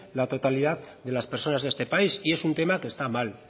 la totalidad de las personas de este país y es un tema que está mal